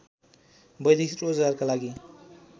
वैदेशिक रोजगारका लगि